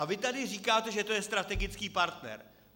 A vy tady říkáte, že to je strategický partner.